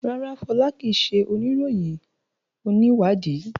rara, Fola kii ṣe oniroyin oniwadii